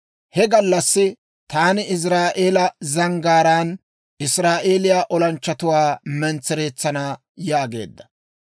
He gallassi taani Iziraa'eela zanggaaraan Israa'eeliyaa olanchchatuwaa mentsereetsana» yaageedda.